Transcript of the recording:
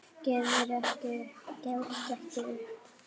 Gefumst ekki upp.